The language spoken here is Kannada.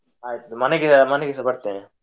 ಆಯ್ತು ಮನೆಗೆ ಮನೆಗೆಸ ಬರ್ತೆನೆ.